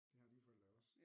Det har dine forældre jo også